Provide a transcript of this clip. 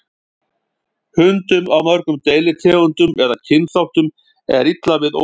Hundum af mörgum deilitegundum eða kynþáttum er illa við ókunnuga.